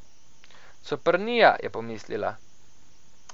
Coprnija, je pomislila.